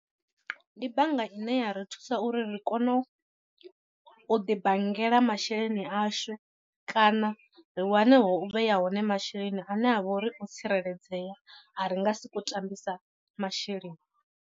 Ndi bannga ine ya ri thusa uri ri kone u ḓi bangela masheleni ashu kana ri wane ho u vhea hone masheleni ane a vha uri o tsireledzea a ri nga sokou tambisa masheleni.